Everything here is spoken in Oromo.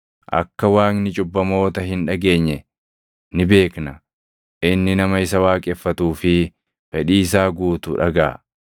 Akka Waaqni cubbamoota hin dhageenye ni beekna. Inni nama isa waaqeffatuu fi fedhii isaa guutu dhagaʼa.